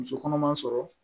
Muso kɔnɔma sɔrɔ